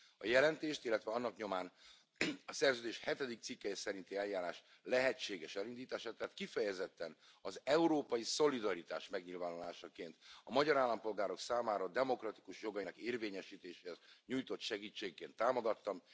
A jelentést, illetve annak nyomán a szerződés hetedik cikkelye szerinti eljárás lehetséges elindítását tehát, kifejezetten az európai szolidaritás megnyilvánulásaként a magyar állampolgárok számára demokratikus jogainak érvényesítéséhez nyújtott segítségként támogattam.